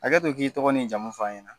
Hakɛto i k'i tɔgɔ ni jamu fan ye tan.